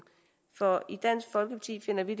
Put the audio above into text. for i dansk folkeparti finder vi